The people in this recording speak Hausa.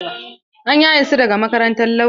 An yaye su daga makarantar lauya.